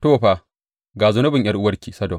To, fa, ga zunubin ’yar’uwarki Sodom.